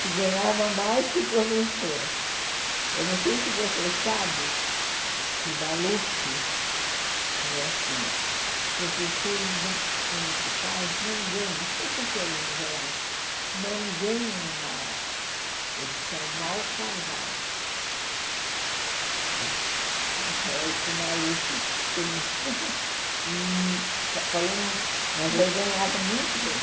que ganhava mais que professora eu não sei se você sabe que o Maluf falou assim os professores não municipais não ganham os professores em gerais não ganham mal eles são mal casados é o que o Maluf pensa e fa falando mas eu ganhava muito bem